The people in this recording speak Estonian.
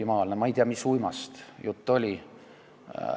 Ma ei tea, mis uimast jutt oli.